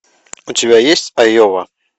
у тебя есть айова